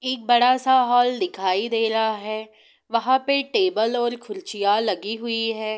एक बड़ा सा हॉल दिखाई दे रहा है| वह पे टेबुल और कुर्सियां लगी हुए है।